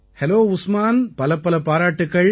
hello Usman பலப்பல பாராட்டுக்கள்